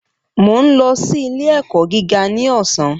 Mo ń lọ sí ilé ẹ̀kọ́ gíga ní ọ̀sán